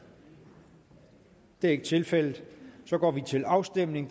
det er ikke tilfældet så går vi til afstemning